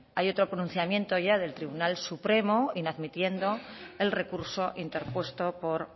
hay otro pronunciamiento ya del tribunal supremo inadmitiendo el recurso interpuesto por